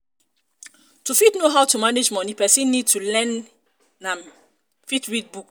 to fit know how to manage money person need to learn im fit read book